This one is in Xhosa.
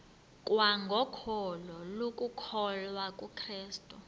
kwangokholo lokukholwa kukrestu